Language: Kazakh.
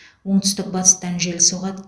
оңтүстік батыстан жел соғады